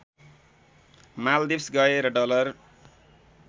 माल्दिप्स गएर डलर